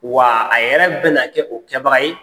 Wa a yɛrɛ bɛna kɛ o kɛbaga ye.